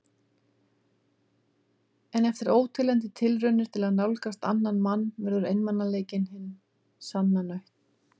En eftir óteljandi tilraunir til að nálgast annan mann verður einmanaleikinn hin sanna nautn.